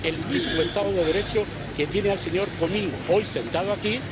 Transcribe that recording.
El mismo estado de Derecho que tiene al señor Comín hoy sentado aquí.